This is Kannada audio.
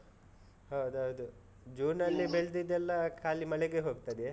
ಹೌದೌದು. ಜೂನ್ ನಲ್ಲಿ ಬೆಳ್ದಿದ್ದೆದೆಲ್ಲ ಖಾಲಿ ಮಳೆಗೇ ಹೋಗ್ತದೆ.